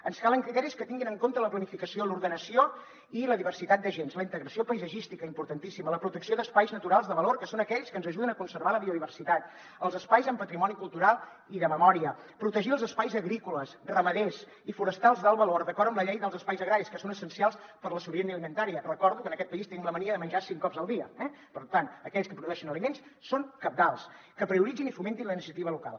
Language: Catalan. ens calen criteris que tinguin en compte la planificació l’ordenació i la diversitat d’agents la integració paisatgística importantíssima la protecció d’espais naturals de valor que són aquells que ens ajuden a conservar la biodiversitat els espais amb patrimoni cultural i de memòria protegir els espais agrícoles ramaders i forestals d’alt valor d’acord amb la llei dels espais agraris que són essencials per a la sobirania alimentària recordo que en aquest país tenim la mania de menjar cinc cops al dia eh per tant aquells que produeixen aliments són cabdals que prioritzin i fomentin la iniciativa local